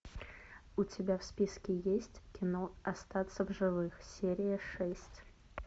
у тебя в списке есть кино остаться в живых серия шесть